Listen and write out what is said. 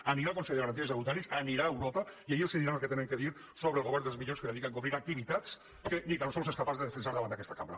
anirà al consell de garanties estatutàries anirà a europa i allà els diran el que han de dir sobre el govern dels milions que es dedica a encobrir activitats que ni tan sols és capaç de defensar davant d’aquesta cambra